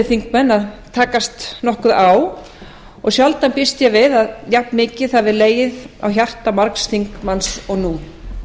þingmenn að takast nokkuð á og sjálfsagt býst ég við að jafnmikið hafi legið á hjarta margs þingmanns eins og nú